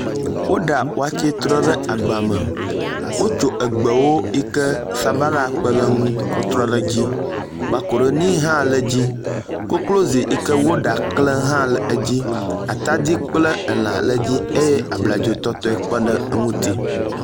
Woɖa wɔtse trɔ ɖe agba me wotso egbewo si ke sabala kpeɖeŋu kɔ trɔ ɖe dzi, makaroni hã le dzi, koklozi yi ke woɖa kle hã le edzi ataɖi kple elã le edzi eye abladzo tɔtɔe kpeɖe eŋuti